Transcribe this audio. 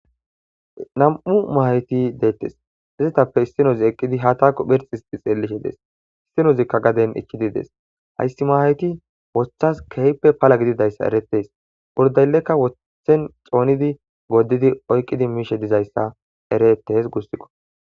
nam7u mahayti deettes izetappe istinozi eqqidi ha taakko phirx hisxi xeellishe dees istinozikka gaden ikkidi dees hayssi mahayti wothas kehppe pala gididayssa eretees burdayllekka wotthen xoonidi goddidi oykqidi miishe dizayssa ereettes gussikqo